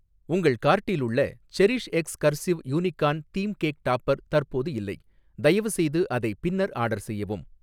உங்கள் கார்ட்டில் உள்ள CherishX cursive unicorn theme cake topper தற்போது இல்லை, தயவுசெய்து அதை பின்னர் ஆர்டர் செய்யவும்.